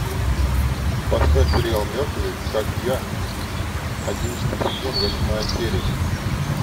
поставь сериал мертвый как я одиннадцатый сезон восьмая серия